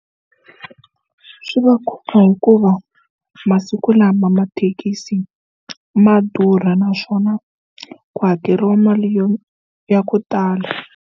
Swi va khumba hikuva masiku lama mathekisi ma durha naswona ku hakeriwa mali yo ya ku tala.